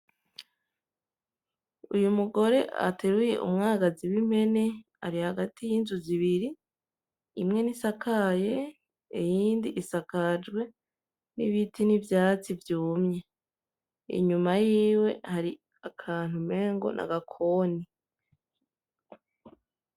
Uyu mugore ateruye umwagazi w'impene, ari hagati y'inzu zibiri, imwe ntisakaye iyindi isakajwe n'ibiti n'ivyatsi vyumye, inyuma yiwe hari akantu umengo n'agakoni.